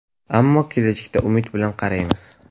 Ammo kelajakka umid bilan qaraymiz.